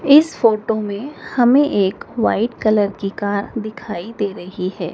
इस फोटो में हमें एक व्हाइट कलर की कार दिखाई दे रही है।